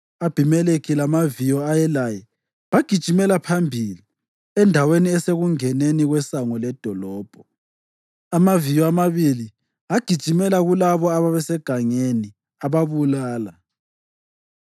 U-Abhimelekhi lamaviyo ayelaye bagijimela phambili endaweni esekungeneni kwesango ledolobho. Amaviyo amabili agijimela kulabo ababesegangeni ababulala.